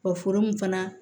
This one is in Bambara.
Wa foro mun fana